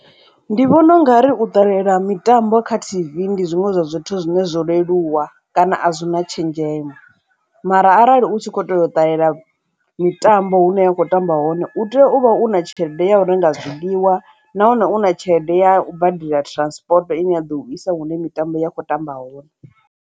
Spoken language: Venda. Ndi vhona ungari u ṱalela mitambo kha tv ndi zwiṅwe zwa zwithu zwine zwo leluwa kana a zwi na tshenzhemo mara arali u tshi kho ṱoḓa u ṱalela mitambo hune wa kho tamba hone u tea u vha u na tshelede ya hu no nga zwiḽiwa nahone u na tshelede ya badela transport ine ya ḓo u isa hune mitambo ya kho tamba hone.